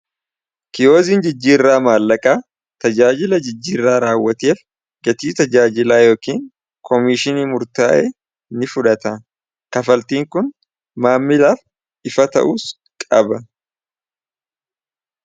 Kiyoziin jijjiirraa maallaqaa tajaajila jijjiirraa raawwateef gatii tajaajilaa yookiin koomiishinii murtaa'e ni fudhata kafaltiin kun maammilaaf ifa ta'uus qaba.